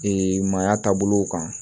maaya taabolow kan